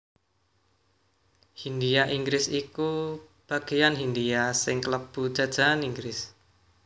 Hindhia Inggris iku bageyan Hindhia sing klebu jajahan Inggris